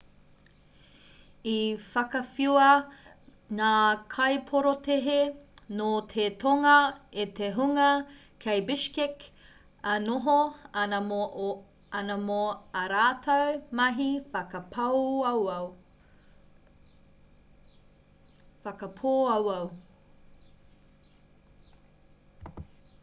i whakawhiua ngā kaiporotēhi nō te tonga e te hunga kei bishkek e noho ana mō ā rātou mahi whakapōauau